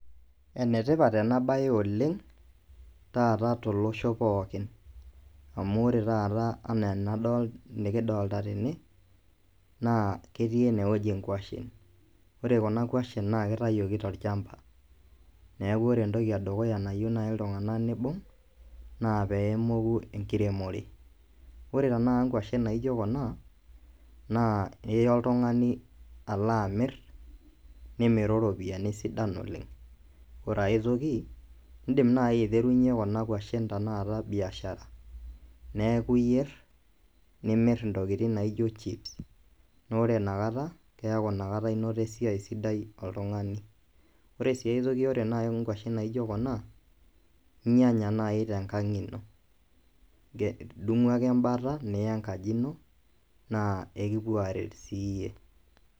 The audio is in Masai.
Enetipat ena baye oleng taata tolosho pookin amu ore taata enikidolita tene naa ketii enewueji inkuashen ore kuna kuashen naa keitayioki tolchamba neeku ore entoki nayieu naaji iltung'anak neibung naa peemoku enkiremore ore tenakata inkuashen naajio kuna naa iya oltung'ani alo aamir nimiru iropiyiani sidan oleng ore ai toki indiim naaji aiterunyie kuna kuashen tenakata biashara neeku iyier nimiri intokitin naaijo chips neeku ore inakata eisidai toltun'ani ore sii ai toki naijio kuna inyianya naaji tenkang ino idung'u ake embata niya enkaji ino naa ekupuo aarer siiyie.